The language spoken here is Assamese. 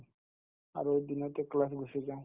আৰু দিনতে class ত গুচি যাওঁ